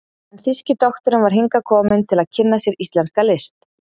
en þýski doktorinn var hingað kominn til að kynna sér íslenska list.